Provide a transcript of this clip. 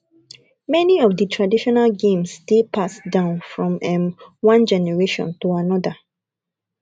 many of di traditional games dey passed down from um one generation to anoda